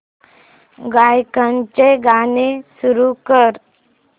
गायकाचे गाणे सुरू कर